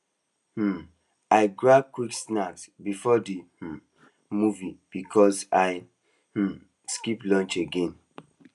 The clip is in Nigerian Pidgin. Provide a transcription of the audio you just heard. um i grab quick snack before the um movie because i um skip lunch again